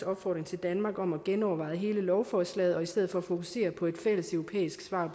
opfordring til danmark om at genoverveje hele lovforslaget og i stedet for fokusere på et fælles europæisk svar